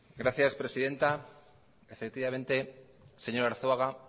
gracias presidenta efectivamente señor arzuaga